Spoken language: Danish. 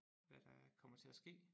Hvad der kommer til at ske